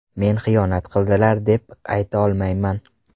Men xiyonat qildilar, deb ayta olmayman.